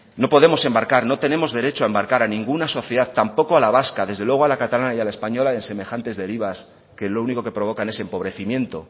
no podemos embarcar no tenemos derecho a embarcar a ninguna sociedad tampoco a la vasca desde luego a la catalana y a la española en semejantes derivas que lo único que provocan es empobrecimiento